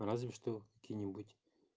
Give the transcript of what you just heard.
разве что какие-нибудь